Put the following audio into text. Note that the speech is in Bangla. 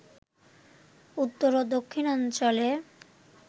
উত্তর ও দক্ষিণাঞ্চলে